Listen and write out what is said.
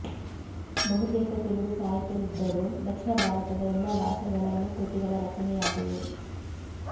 ಬಹುತೇಕ ತೆಲುಗು ಸಾಹಿತ್ಯವಿದ್ದರೂ ದಕ್ಷಿಣ ಭಾರತದ ಎಲ್ಲ ಬಾಷೆಗಳಲ್ಲೂ ಕೃತಿಗಳ ರಚನೆಯಾಗಿವೆ